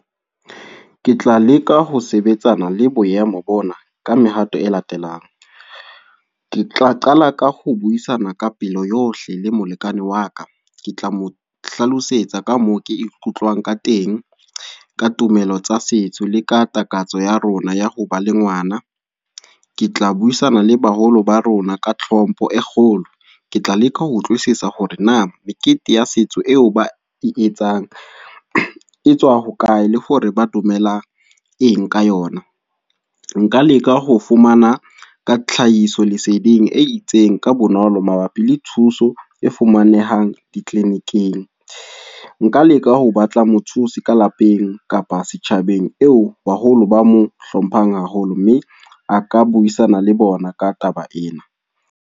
Ke tla leka ho sebetsana le boemo bona, ka mehato e latelang. Ke tla qala ka ho buisana ka pelo yohle le molekane wa ka. Ke tla mohlalosetsa ka moo ke ikutlwang ka teng. Ka tumelo tsa setso, le ka takatso ya rona ya ho ba le ngwana. Ke tla buisana le baholo ba rona ka tlhompho e kgolo. Ke tla leka ho utlwisisa hore na mekete ya setso eo ba e etsang, etswa ho lae. Le hore ba dumelang eng ka yona. Nka leka ho fumana ka tlhahiso leseding e itseng ka bonolo mabapi le thuso e fumanehang di-clinic-ing. Nka leka ho batla mothusi ka lapeng, kapa setjhabeng eo baholo ba mo hlomphang haholo. Mme, a ka buisana le bona ka taba ena.